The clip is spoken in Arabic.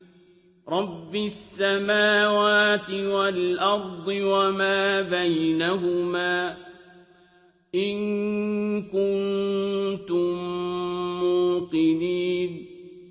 رَبِّ السَّمَاوَاتِ وَالْأَرْضِ وَمَا بَيْنَهُمَا ۖ إِن كُنتُم مُّوقِنِينَ